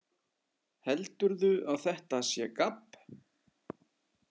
Heldurðu að þetta sé gabb?